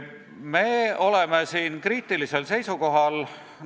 Me oleme ühes mõttes kriitilisel seisukohal.